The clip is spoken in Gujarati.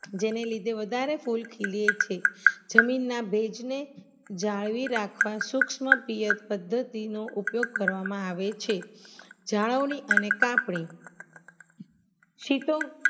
જેનેલીધે વધારે ફૂલ ખીલે છે જમીનના ભેજને જાણવી રાખવા સુક્ષ્મ પિયત પદ્ધતિનો ઉપયોગ કરવામાં આવે છે જાણવણી અને કાપણી